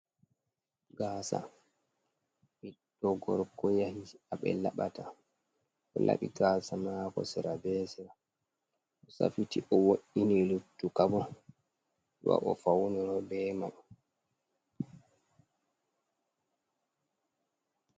Gaasa ɓiɗɗo gorko yanci a ɓe laɓata, o laɓi gaasa maako sera be sera, o safiti, o wo’’ini luttuka bo, wa o fawnoro be may.